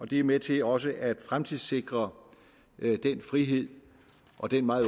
det er med til også at fremtidssikre den frihed og den meget